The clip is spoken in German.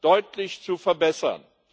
deutlich zu verbessern.